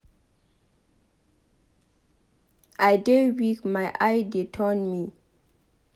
I dey weak my eye dey turn me